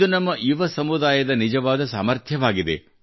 ಇದು ನಮ್ಮ ಯುವಸಮುದಾಯದ ನಿಜವಾದ ಸಾಮರ್ಥ್ಯವಾಗಿದೆ